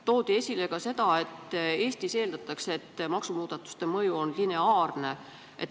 Toodi esile ka seda, et Eestis eeldatakse, et maksumuudatuste mõju on lineaarne.